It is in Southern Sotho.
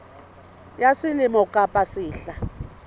ya selemo kapa ya sehla